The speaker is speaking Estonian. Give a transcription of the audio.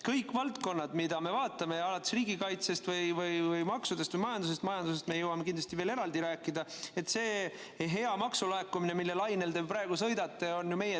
Kõik valdkonnad, mida me vaatame, alates riigikaitsest, maksudest või majandusest – majandusest me jõuame kindlasti veel eraldi rääkida, sellest heast maksulaekumisest, mille lainel te praegu sõidate –, on meie tehtud.